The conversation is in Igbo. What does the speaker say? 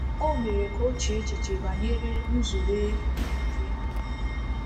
O mere ka o chee echiche banyere nzube nke ndụ.